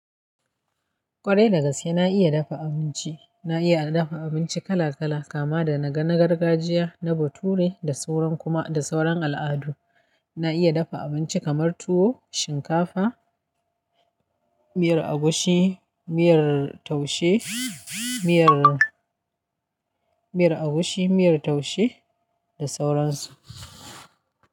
Kwarai da gaske na iya dafa abinci. Na iya dafa abinci kala kala kama da na gargajiya, na bature, da sauran kuma, da sauran al'adu. Na iya dafa abinci kamar tuwo, shinkafa, miyar agushi, miyar taushe, miyar, miyar agushi, miyar taushe da sauran su.